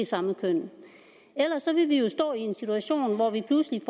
samme køn ellers ville vi jo stå i en situation hvor vi pludselig